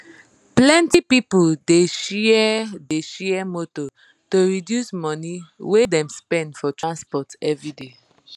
plenti people dey share dey share motor to reduce money wey dem dey spend for transport everyday